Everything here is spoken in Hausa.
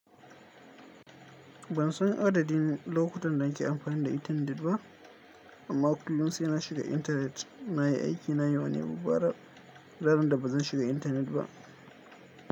Bansan adadin lokutan da nake amfani da internet ba, amma kullum sai na shiga internet. Nayi aiki na yau ne mu fara ranar da ban shiga internet ba.